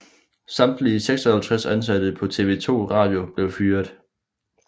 Samtlige 56 ansatte på TV 2 Radio blev fyret